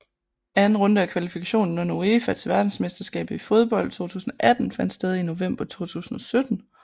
Anden runde af kvalifikationen under UEFA til verdensmesterskabet i fodbold 2018 fandt sted i november 2017